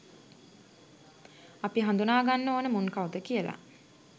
අපි හදුනා ගන්න ඕන මුන් කවුද කියල